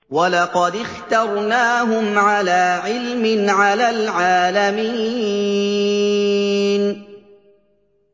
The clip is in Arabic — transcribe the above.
وَلَقَدِ اخْتَرْنَاهُمْ عَلَىٰ عِلْمٍ عَلَى الْعَالَمِينَ